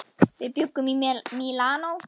Við bjuggum í Mílanó.